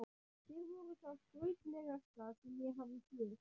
Þeir voru það skrautlegasta sem ég hafði séð.